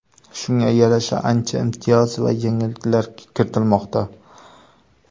Shunga yarasha ancha imtiyoz va yengilliklar kiritilmoqda.